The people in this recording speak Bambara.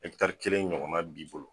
Ɛtari kelen ɲɔgɔnna b'i bolo